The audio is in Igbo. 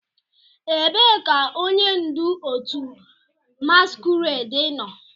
Ebee ka onye ndu otu masquerade nọ?